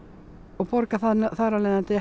og borga þar af leiðandi